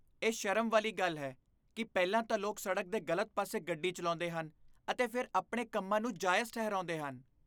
ਇਹ ਸ਼ਰਮ ਵਾਲੀ ਗੱਲ ਹੈ ਕਿ ਪਹਿਲਾਂ ਤਾਂ ਲੋਕ ਸੜਕ ਦੇ ਗਲਤ ਪਾਸੇ ਗੱਡੀ ਚਲਾਉਂਦੇ ਹਨ ਅਤੇ ਫਿਰ ਆਪਣੇ ਕੰਮਾਂ ਨੂੰ ਜਾਇਜ਼ ਠਹਿਰਾਉਂਦੇ ਹਨ।